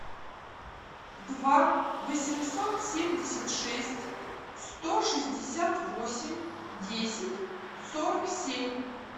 два восемьсот семьдесят шесть сто шестьдесят восемь десять сорок семь